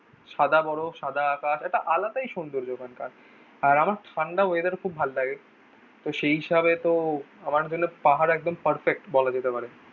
সাদা বরফ সাদা আকাশ একটা আলাদাই সৌন্দর্য্য ওখানকার। আর আমার ঠান্ডা ওয়েদার খুব ভালো লাগে। তো সেই হিসাবে তো আমার জন্য পাহাড় একদম পারফেক্ট বলা যেতে পারে।